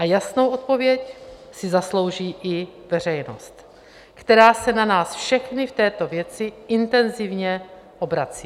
A jasnou odpověď si zaslouží i veřejnost, která se na nás všechny v této věci intenzivně obrací.